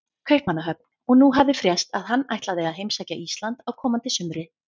Kaupmannahöfn, og nú hafði frést að hann ætlaði að heimsækja Ísland á komandi sumri.